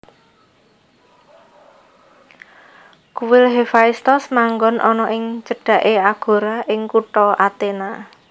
Kuil Hefaistos manggon ana ing cedhaké agora ing kutha Athena